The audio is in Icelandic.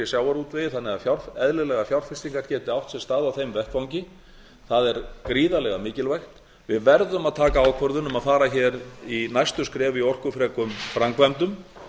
sjávarútvegi þannig að eðlilegar fjárfestingar geti átt sér stað á þeim vettvangi það er gríðarlega mikilvægt við verðum að taka ákvörðun um að fara hér í næstu skref í orkufrekum framkvæmdum